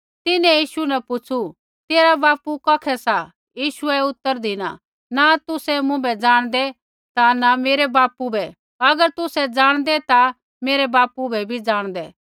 तिन्हैं यीशु न पुछ़ु तेरा बापू कौखै सा यीशुऐ उतर धिना न तुसै मुँभै जाणदै ता न मेरै बापू बै अगर तुसै जाणदै ता मेरै बापू बै भी जाणदै